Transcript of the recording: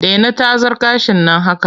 Dena tazar gashin nan haka!